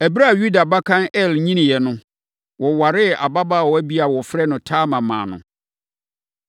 Ɛberɛ a Yuda abakan Er nyiniiɛ no, wɔwaree ababaawa bi a wɔfrɛ no Tamar maa no.